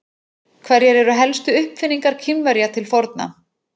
Hverjar eru helstu uppfinningar Kínverja til forna?